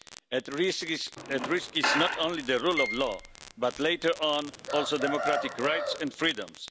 At risk is not only the rule of law, but later on also democratic rights and freedoms.